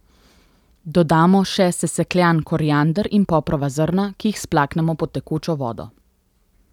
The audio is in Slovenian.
Dodamo še sesekljan koriander in poprova zrna, ki jih splaknemo pod tekočo vodo.